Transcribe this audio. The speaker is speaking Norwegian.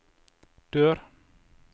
dør